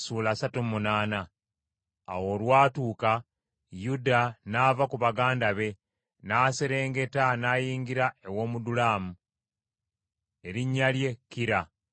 Awo olwatuuka Yuda n’ava ku baganda be n’aserengeta, n’ayingira ew’Omudulamu, erinnya lye, Kira.